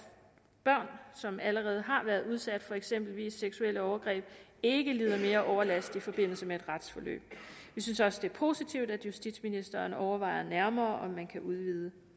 børn som allerede har været udsat for eksempelvis seksuelle overgreb ikke lider mere overlast i forbindelse med et retsforløb vi synes også det er positivt at justitsministeren overvejer nærmere om man kan udvide